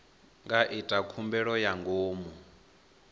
nga ita khumbelo ya ngomu